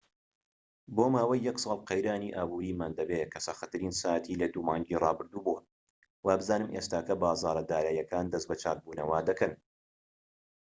بۆ ماوەی یەک ساڵ قەیرانی ئابوریمان دەبێت کە سەختترین ساتی لە دوو مانگی ڕابردوو بووە و وابزانم ئێستاکە بازاڕە داراییەکان دەست بە چاک بوونەوە دەکەن